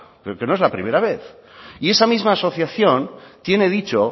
pero que no es la primera vez y esa misma asociación tiene dicho